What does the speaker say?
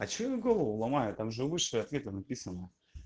а че я голову ломаю там же выше ответы написаны